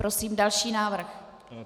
Prosím další návrh.